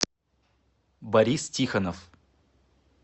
борис тихонов